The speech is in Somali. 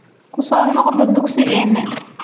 Ku soo noqo dugsigeena